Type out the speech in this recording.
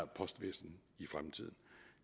postvæsen